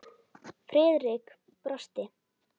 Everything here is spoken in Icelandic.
Friðrik brosti.